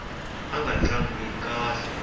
ava nga tlangi kahle